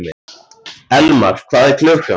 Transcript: Elmar, hvað er klukkan?